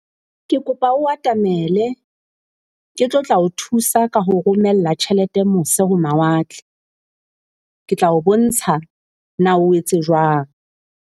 Ke kopa o atamele ke tlo tla o thusa ka ho o romella tjhelete mose ho mawatle. Ke tla o bontsha na o etse jwang.